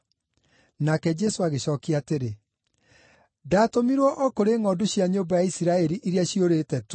Nake Jesũ agĩcookia atĩrĩ, “Ndaatũmirwo o kũrĩ ngʼondu cia nyũmba ya Isiraeli iria ciũrĩte tu.”